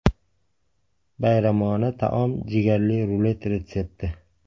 Bayramona taom jigarli rulet retsepti.